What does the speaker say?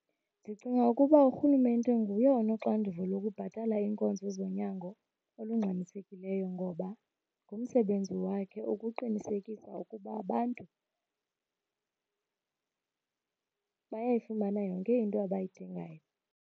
Ndicinga ukuba urhulumente nguye onoxanduva lokubhatala iinkonzo zonyango olungxamisekileyo ngoba ngumsebenzi wakhe ukuqinisekisa ukuba abantu bayayifumana yonke into abayidingayo.